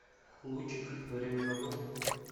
лучик время работы